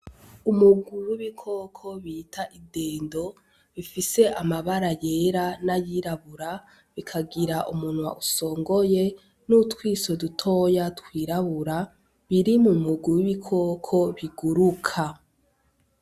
Umugwi wibikoko bita idendo bifise amabara yera nayirabura bikagira umunwa usongoye nutwiso dutoya twirabura, biri mumugwi wibikoko biguruka.